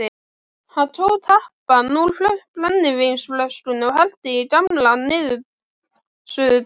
Hann tók tappann úr brennivínsflösku og hellti í gamla niðursuðudós.